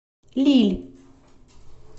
лилль